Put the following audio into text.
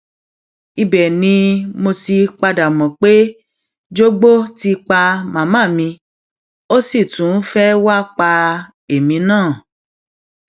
ibẹ ni mo ti padà mọ pé jogbo ti pa màmá mi ó sì tún fẹẹ wàá pa èmi náà